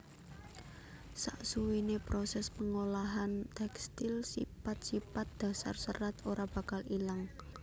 Saksuwiné prosès pangolahan tekstil sipat sipat dasar serat ora bakal ilang